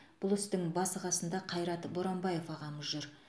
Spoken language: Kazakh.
бұл істің басы қасында қайрат боранбаев ағамыз жүр